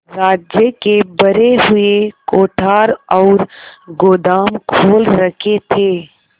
राज्य के भरे हुए कोठार और गोदाम खोल रखे थे